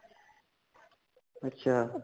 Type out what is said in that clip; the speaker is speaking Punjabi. ਅੱਛਾ